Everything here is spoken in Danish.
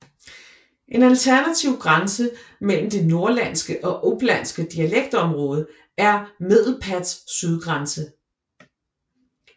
En alternativ grænse mellem det norrlandske og upplandske dialektområde er Medelpads sydgrænse